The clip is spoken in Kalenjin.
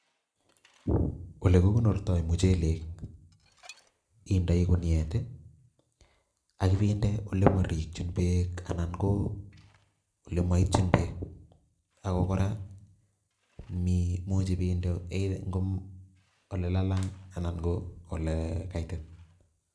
Olekukonortoi muchelek, indei kuniet, akipinde olemorikchin beek anan ko olemoitchin beek ako kora, muchi pinde olelalang anan ko olekaitit.